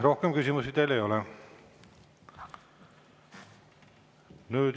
Rohkem küsimusi teile ei ole.